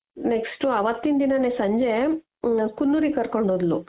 next ಅವತ್ತಿನ್ ದಿನನೆ ಸಂಜೆ ಕುನ್ನೂರಿಗೆ ಕರ್ಕೊಂಡು ಹೋದ್ಲು